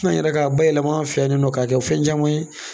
yɛrɛ ka bayɛlɛma an fɛ yan ni nɔ ka kɛ fɛn caman ye.